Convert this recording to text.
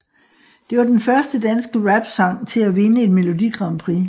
Det var den første danske rapsang til at vinde et Melodi Grand Prix